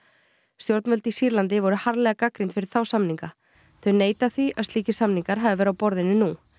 stjórnvöld í Sýrlandi voru harðlega gagnrýnd fyrir þá samninga þau neita því að slíkir samningar hafi verið á borðinu nú